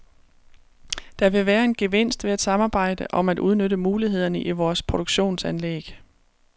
Der vil være en gevinst ved at samarbejde om at udnytte mulighederne i vores produktionsanlæg.